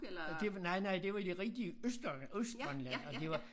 Ja det var nej nej det var i det rigtige øst øh Østgrønland altså det var